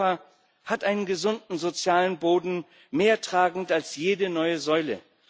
Europa hat einen gesunden sozialen Boden, mehr tragend als jede neue Säule.